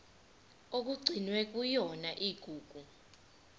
okugcinwe kuyona igugu